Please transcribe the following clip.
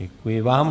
Děkuji vám.